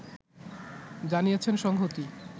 জানিয়েছেন সংহতি